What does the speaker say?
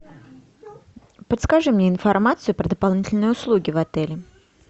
подскажи мне информацию про дополнительные услуги в отеле